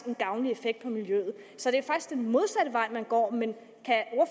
en gavnlig effekt på miljøet så det er faktisk den modsatte vej man går men kan